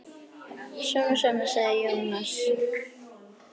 Svona svona, sagði Jónas.